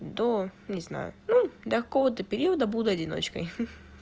до не знаю ну до кого-то периода буду одиночкой ха-ха